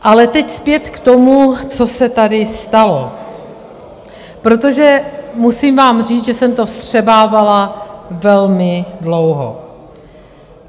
Ale teď zpět k tomu, co se tady stalo, protože musím vám říct, že jsem to vstřebávala velmi dlouho.